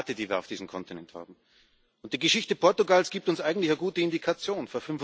Es ist die Debatte, die wir auf diesem Kontinent haben. Die Geschichte Portugals gibt uns eigentlich eine gute Indikation.